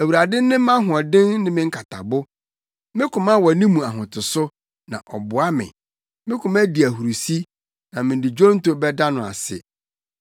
Awurade ne mʼahoɔden ne me nkatabo me koma wɔ ne mu ahotoso, na ɔboa me. Me koma di ahurusi na mede dwonto bɛda no ase.